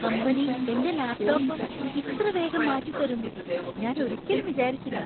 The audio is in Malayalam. കമ്പനി എന്‍റെ ലാപ്ടോപ്പ് ഇത്രവേഗം മാറ്റി തരുമെന്ന്‌ ഞാൻ ഒരിക്കലും വിചാരിച്ചില്ല!